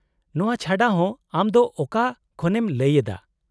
-ᱱᱚᱶᱟ ᱪᱷᱟᱰᱟ ᱦᱚᱸ , ᱟᱢ ᱫᱚ ᱚᱠᱟ ᱠᱷᱚᱱᱮᱢ ᱞᱟᱹᱭ ᱮᱫᱟ ?